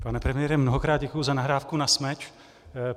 Pane premiére, mnohokrát děkuji za nahrávku na smeč.